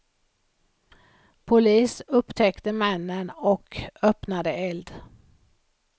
Polis upptäckte männen och öppnade eld.